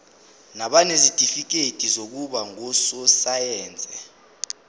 nabanezitifikedi zokuba ngososayense